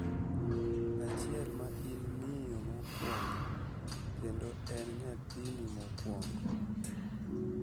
achiel ma in miyo mokwongo kendo en nyathini mokwongo.